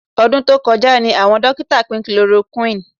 Ọdún tó kọjá ni àwọn dókítà pín chloroquine